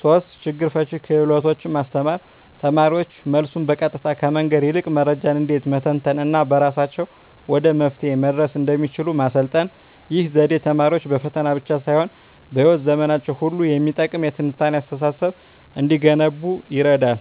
3)ችግር ፈቺ ክህሎቶችን ማስተማር: ተማሪዎች መልሱን በቀጥታ ከመንገር ይልቅ መረጃን እንዴት መተንተን እና በራሳቸው ወደ መፍትሄው መድረስ እንደሚችሉ ማሰልጠን። ይህ ዘዴ ተማሪዎች በፈተና ብቻ ሳይሆን በሕይወት ዘመናቸው ሁሉ የሚጠቅም የትንታኔ አስተሳሰብ እንዲገነቡ ይረዳል።